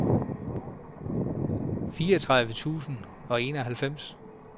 fireogtredive tusind og enoghalvfems